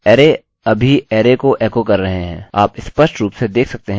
array अभी अरै को एको कर रहे हैं